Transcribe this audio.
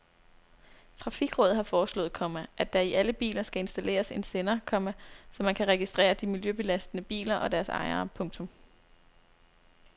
Trafikrådet har foreslået, komma at der i alle biler skal installeres en sender, komma så man kan registrere de miljøbelastende biler og deres ejere. punktum